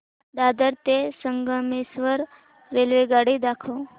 दादर ते संगमेश्वर रेल्वेगाडी दाखव